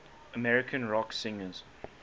american rock singers